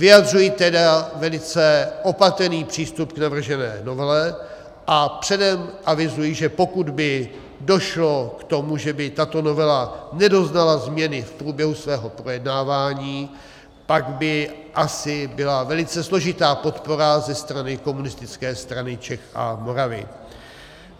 Vyjadřuji tedy velice opatrný přístup k navržené novele a předem avizuji, že pokud by došlo k tomu, že by tato novela nedoznala změny v průběhu svého projednávání, pak by asi byla velice složitá podpora ze strany Komunistické strany Čech a Moravy.